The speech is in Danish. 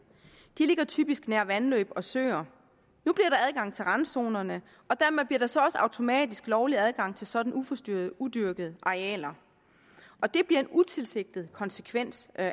de ligger typisk nær vandløb og søer nu bliver der adgang til randzonerne og dermed bliver der så også automatisk lovlig adgang til sådan uforstyrrede udyrkede arealer det bliver en utilsigtet konsekvens af